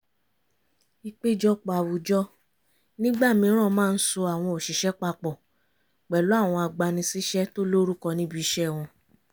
ìpéjọpọ̀ àwùjọ nígbà mìíràn màa ń so àwọn òṣìṣẹ́ papọ̀ pẹ̀lú àwọn agbani síṣẹ́ tó lórúkọ níbi iṣẹ́ wọn